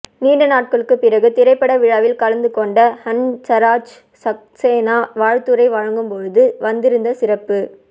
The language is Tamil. நீண்ட நாட்களுக்குப் பிறகு திரைப்பட விழாவில் கலந்து கொண்ட ஹன்சராஜ் சக்சேனா வாழ்த்துரை வழங்கும் போது வந்திருந்த சிறப்பு